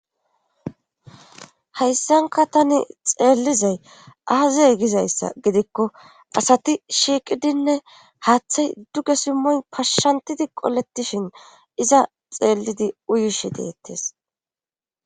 hayssanka tani xeellizay aaze gizayssa gidikko asati shiiqidinne haaththay duge simmoy pashshantidi qoletishin iza xeellidi uyishi deettes